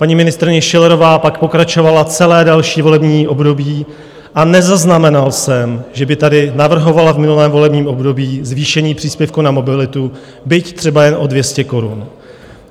Paní ministryně Schillerová pak pokračovala celé další volební období a nezaznamenal jsem, že by tady navrhovala v minulém volebním období zvýšení příspěvku na mobilitu, byť třeba jen o 200 korun.